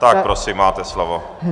Tak prosím, máte slovo.